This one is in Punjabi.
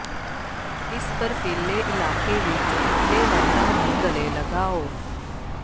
ਇਸ ਬਰਫੀਲੇ ਇਲਾਕੇ ਵਿਚ ਠੰਢੇ ਲਹਿਰਾਂ ਨੂੰ ਗਲੇ ਲਗਾਓ